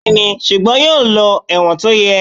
Bẹ́ẹ̀ni, ṣùgbọ́n yóò lọ ẹ̀wọ̀n tó yẹ.